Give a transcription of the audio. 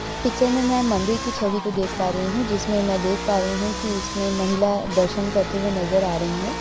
Picture में मैं मंदिर की छवि को देख पा रही हूँ। जिसमें मैं देख पा रही हूँ कि इसमें महिला दर्शन करते हुए नज़र आ रही हैं।